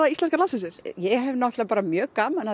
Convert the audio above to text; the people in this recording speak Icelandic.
íslenska landsliðsins ég hef náttúrulega bara mjög gaman